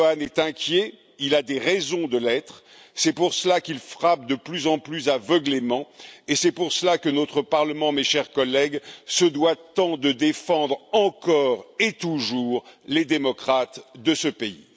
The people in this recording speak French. Erdogan est inquiet, il a des raisons de l'être, c'est pour cela qu'il frappe de plus en plus aveuglément, et c'est pour cela que notre Parlement, mes chers collègues, se doit tant de défendre encore et toujours les démocrates de ce pays.